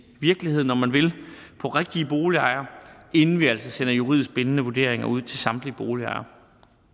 virkeligheden om man vil på rigtige boligejere inden vi altså sender juridisk bindende vurderinger ud til samtlige boligejere